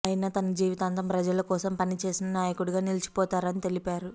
ఆయన తన జీవితాంతం ప్రజల కోసం పని చేసిన నాయకుడిగా నిలిచిపోతారని తెలిపారు